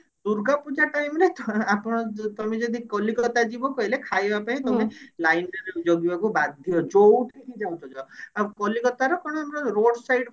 Durga Puja time ରେ ଥ ଆପଣ ଯ ତମେ ଯଦି କଲିକତା ଯିବ କଇଲେ ଖାଇବା ପାଇଁ ତମେ line ରେ ଜଗିବାକୁ ବାଧ୍ୟ ଯୋଉଠି କୁ ଜାଉଚ ଯାଅ ଆଉ କଲିକତାର କଣ road side